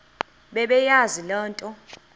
bebeyazi le nto